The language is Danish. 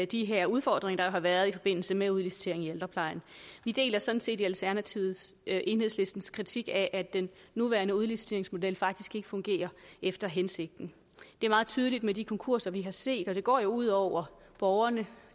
de her udfordringer har været i forbindelse med udliciteringen i ældreplejen vi deler sådan set i alternativet enhedslistens kritik af at den nuværende udliciteringsmodel faktisk ikke fungerer efter hensigten det er meget tydeligt med de konkurser vi har set og det går jo ud over borgerne